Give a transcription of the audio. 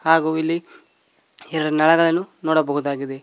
ಹಾಗು ಇಲ್ಲಿ ಎರ ನಳಗಳನ್ನು ನೋಡಬಹುದಾಗಿದೆ.